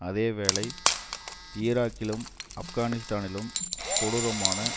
அதே வேளை ஈராக்கிலும் ஆப்கானிஸ்தானிலும் கொடூரமான